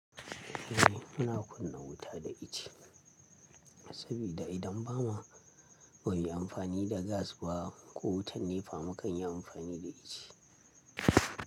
Eh muna kunna wuta da ice, sabida idan bama, ba muyi amfani da gas ba ko wutar nefa, mu kan yi amfani da ice.